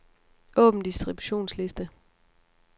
Åbn distributionsliste.